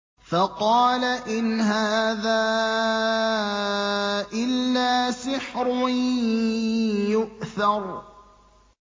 فَقَالَ إِنْ هَٰذَا إِلَّا سِحْرٌ يُؤْثَرُ